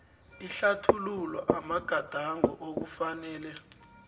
ihlathululo amagadango okufanele